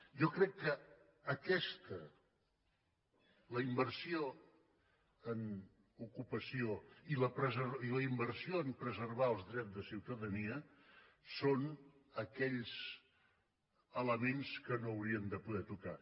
jo crec que aquestes la inversió en ocupació i la inversió a preservar els drets de ciutadania són aquells elements que no hauríem de poder tocar